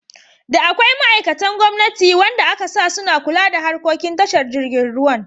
Da akwai ma'aikatan gwamnati wanda akasa suna kula da harkokin tashar jirgin ruwan.